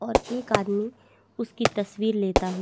और एक आदमी उसकी तस्वीर लेता हु--